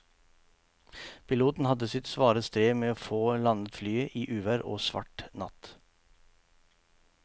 Piloten hadde sitt svare strev med å få landet flyet i uvær og svart natt.